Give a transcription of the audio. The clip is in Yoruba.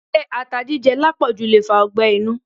Se ata jíjẹ lápòjù le fa ọgbẹ́ inú?